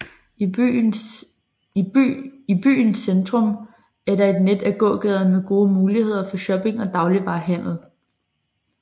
I byen centrum er der et net af gågader med gode muligheder for shopping og dagligvare handel